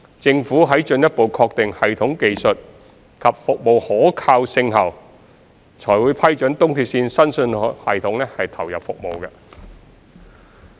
政府在進一步確定系統技術及服務可靠性後，才會批准東鐵綫新信號系統投入服務。